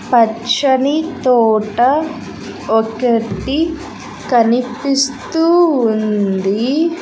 పచ్చని తోట ఒకటి కనిపిస్తూ ఉంది.